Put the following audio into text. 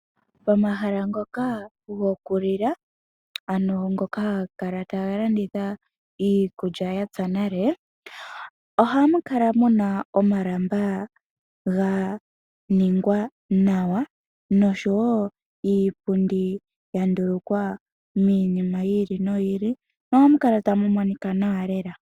Pomahala ngoka gokulila, ano ngoka haga kala taga landitha iikulya ya pya nale, ohamu kala mu na omalamba ga ningwa nawa, nosho wo iipundi ya ndulukwa miinima yi ili noyi ili, nohamu kala tamu monika nawa lela.